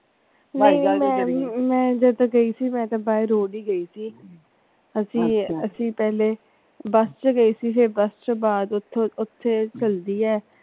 ਨਹੀਂ ਨਹੀਂ ਮੈਂ ਜਦੋਂ ਗਈ ਸੀ ਮੈਂ ਤੇ by road ਹੀ ਗਈ ਸੀ ਅਸੀਂ ਪਹਿਲੇ ਬੱਸ ਚ ਗਏ ਸੀ ਬਸ ਚੋ ਬਾਅਦ ਓਥੇ ਹੈ।